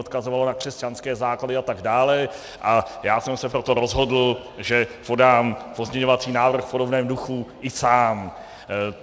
Odkazovalo na křesťanské základy atd., a já jsem se proto rozhodl, že podám pozměňovací návrh v podobném duchu i sám.